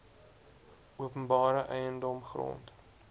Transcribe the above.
openbare eiendom grond